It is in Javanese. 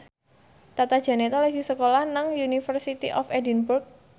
Tata Janeta lagi sekolah nang University of Edinburgh